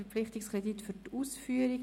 Verpflichtungskredit für die Ausführung».